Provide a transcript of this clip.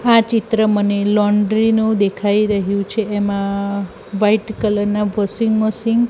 આ ચિત્ર મને લોન્ડ્રી નુ દેખાય રહ્યુ છે એમા વ્હાઇટ કલર ના વોશિંગ મશીન --